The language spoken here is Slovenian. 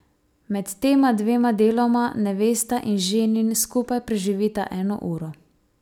Med tema dvema deloma nevesta in ženin skupaj preživita eno uro.